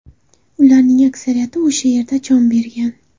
Ularning aksariyati o‘sha yerda jon bergan.